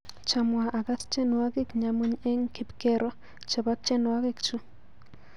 Chamwa akas tyenwokik nyamuny eng kipkero chebo tyenwokik chu.